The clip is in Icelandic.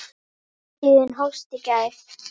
Hátíðin hófst í gær.